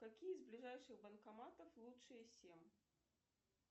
какие из ближайших банкоматов лучшие семь